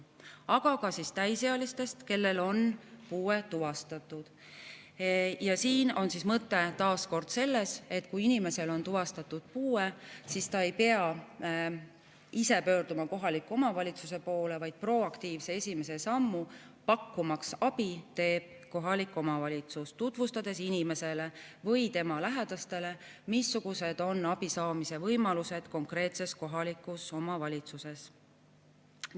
Aga ka täisealised, kellel on puue tuvastatud: siin on mõte taas kord selles, et kui inimesel on tuvastatud puue, siis ta ei pea ise pöörduma kohaliku omavalitsuse poole, vaid proaktiivse esimese sammu, pakkumaks abi, teeb kohalik omavalitsus, tutvustades inimesele või tema lähedastele, missugused on abi saamise võimalused konkreetses kohalikus omavalitsuses.